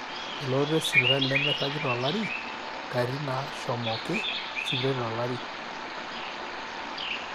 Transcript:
elototo esipitali nemeiragi tolari, katitin naashomoki sipitali tolari